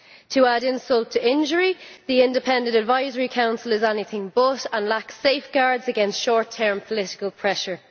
To add insult to injury, the Independent Advisory Council is anything but that and lacks safeguards against short term political pressure.